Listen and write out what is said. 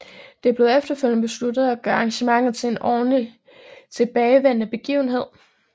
Det blev efterfølgende besluttet at gøre arrangementet til en årligt tilbagevendende begivenhed